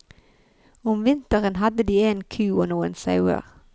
Om vinteren hadde de en ku og noen sauer.